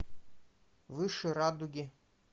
выше радуги